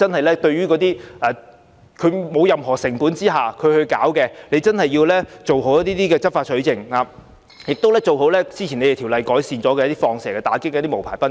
那些無牌賓館無需任何成本開設，當局真的要做好執法取證，以及做好"放蛇"工作，以打擊那些無牌賓館。